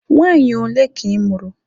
Nwaanyị ole ka ị mụrụ?